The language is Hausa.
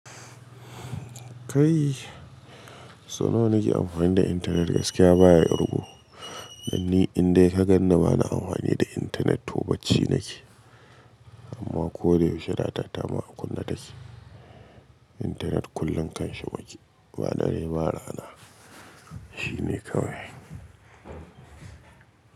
Kai, so nawa nake amfani da internet gaskiya baya irgu. Dan ni in dai ka gan ni bana amfani da internet tobacci nake. Amma ko da yaushe data ta ma a kunna take. Internet kullum kanshi muke. Ba dare ba rana. Shi ne kawai.